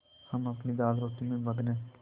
हम अपनी दालरोटी में मगन हैं